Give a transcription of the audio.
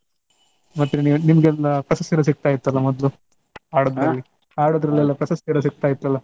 ಮತ್ತೆ ನಿ~ ನಿಮ್ಗೆಲ್ಲ ಪ್ರಶಸ್ತಿ ಎಲ್ಲಾ ಸಿಕ್ತಾ ಇತ್ತಲ್ಲ ಮೊದ್ಲು. ಹಾಡೋದ್ರಲ್ಲಿ ಹಾಡೋದ್ರಲ್ಲೆಲ್ಲ ಪ್ರಶಸ್ತಿ ಎಲ್ಲಾ ಸಿಕ್ತ ಇತ್ತಲ್ಲ.